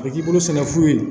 A bɛ k'i bolo sɛnɛ fu ye